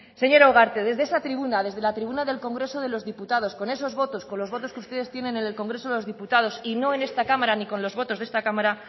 señora ugarte desde esa tribuna desde la tribuna del congreso de los diputados con esos votos con los votos que ustedes tienen en el congreso de los diputados y no en esta cámara ni con los votos de esta cámara